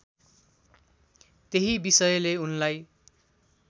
त्यही विषयले उनलाई